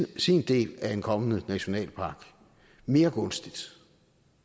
sin del af en kommende nationalpark mere gunstigt